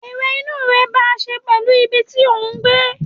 Èrò inú rẹ bá ṣe pèlú ibi tí òhún gbé